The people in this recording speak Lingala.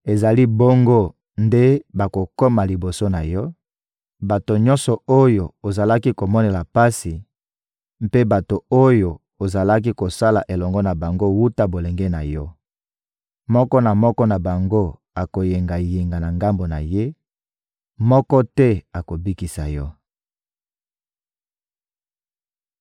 Ezali bongo nde bakokoma liboso na yo, bato nyonso oyo ozalaki komonela pasi, mpe bato oyo ozalaki kosala elongo na bango wuta bolenge na yo. Moko na moko na bango akoyengayenga na ngambo na ye, moko te akobikisa yo!